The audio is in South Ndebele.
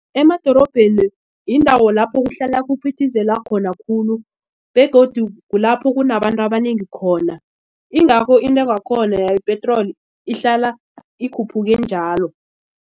Emadorobheni yindawo lapho kuhlala kuphithizela khona khulu begodu kulapho kunabantu abanengi khona. Ingakho intengo yakhona yepetroli ihlala ikhuphuke njalo.